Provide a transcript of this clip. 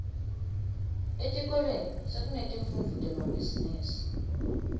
etikolweni sekunetifundvo temabhizimisi